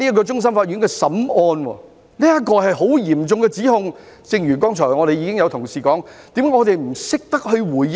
這是非常嚴重的指控，但正如剛才有同事表示，為何我們不懂回應呢？